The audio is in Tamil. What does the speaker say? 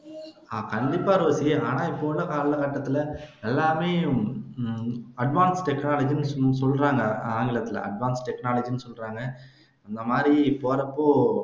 கண்டிப்பா ரோஸி ஆனா இப்போ உள்ள கால கட்டத்துல எல்லாமே ஹம் advance technology னு சொல்றாங்க advance technology னு சொல்றாங்க இந்த மாதிரி போறப்போ